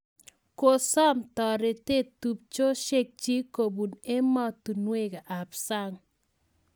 Kosom taretet tupchosiek chik kopun emostunwek ap sang